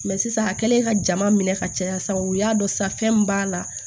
sisan a kɛlen ka jama minɛ ka caya sisan u y'a dɔn sisan fɛn min b'a la